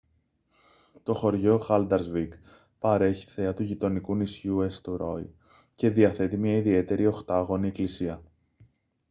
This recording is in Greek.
το χωριό haldarsvík παρέχει θέα του γειτονικού νησιού έστουροϊ και διαθέτει μια ιδιαίτερη οχτάγωνη εκκλησία